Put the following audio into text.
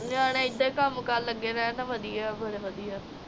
ਨਿਆਣੇ ਏਦਾਂ ਕੰਮਕਾਰ ਲੱਗੇ ਰਹਿਣ ਤਾ ਵਧੀਆ ਫਿਰ ਵਧੀਆ